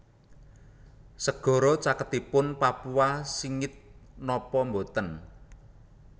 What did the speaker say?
Segara caketipun Papua singit nopo mboten